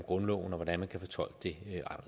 grundloven og hvordan man kan fortolke